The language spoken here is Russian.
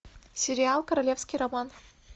сериал королевский роман